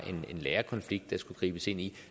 en lærerkonflikt der skulle gribes ind i